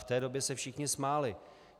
V té době se všichni smáli.